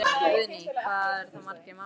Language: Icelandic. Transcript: Guðný: Hvað eru það margir mánuðir?